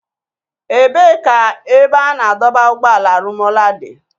Ebee ka ebe a na-adọba ụgbọala Rumuola dị?